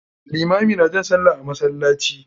Limami na jan sallah a masallaci.